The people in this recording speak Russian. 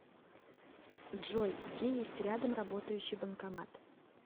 джой где есть рядом работающий банкомат